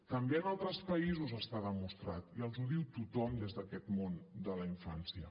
també en altres països està demostrat i els ho diu tothom des d’aquest món de la infància